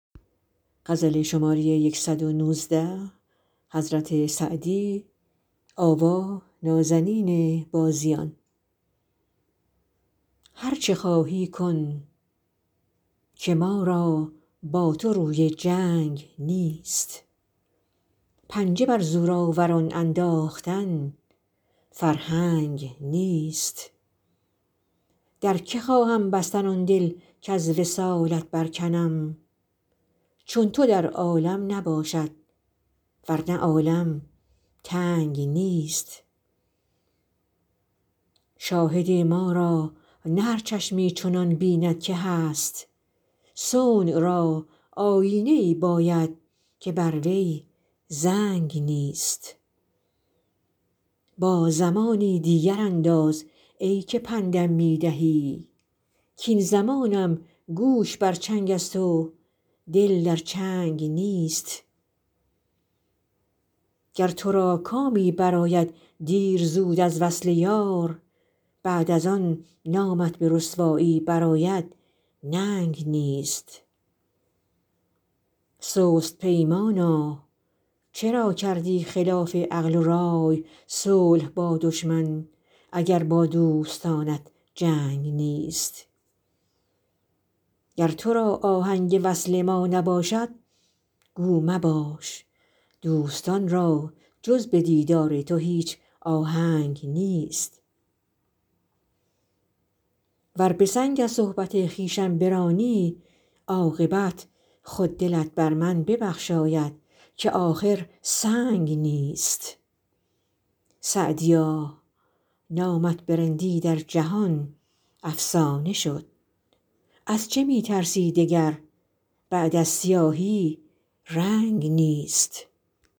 هر چه خواهی کن که ما را با تو روی جنگ نیست پنجه بر زورآوران انداختن فرهنگ نیست در که خواهم بستن آن دل کز وصالت برکنم چون تو در عالم نباشد ور نه عالم تنگ نیست شاهد ما را نه هر چشمی چنان بیند که هست صنع را آیینه ای باید که بر وی زنگ نیست با زمانی دیگر انداز ای که پند م می دهی کاین زمانم گوش بر چنگ است و دل در چنگ نیست گر تو را کامی برآید دیر زود از وصل یار بعد از آن نامت به رسوایی برآید ننگ نیست سست پیمانا چرا کردی خلاف عقل و رای صلح با دشمن اگر با دوستانت جنگ نیست گر تو را آهنگ وصل ما نباشد گو مباش دوستان را جز به دیدار تو هیچ آهنگ نیست ور به سنگ از صحبت خویشم برانی عاقبت خود دلت بر من ببخشاید که آخر سنگ نیست سعدیا نامت به رندی در جهان افسانه شد از چه می ترسی دگر بعد از سیاهی رنگ نیست